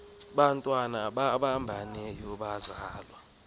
bantwana babambeneyo bazalwa